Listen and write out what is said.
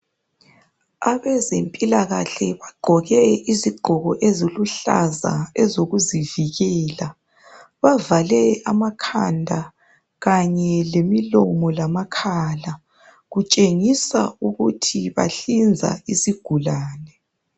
Abezempilakahle bagqoke izigqoko eziluhlaza ezokuzivikela bavale amakhanda kanye lemilomo lamakhala kutshengisa ukuthi bahlinza isigulane